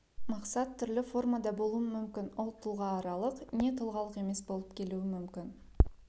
мақсат түрлі формада болуы мүмкін ол тұлғааралық не тұлғалық емес болып келуі мүмкін